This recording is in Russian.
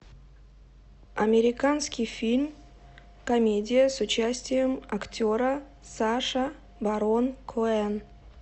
американский фильм комедия с участием актера саша барон коэн